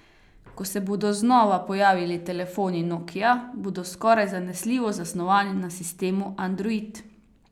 Ko se bodo znova pojavili telefoni nokia, bodo skoraj zanesljivo zasnovani na sistemu android.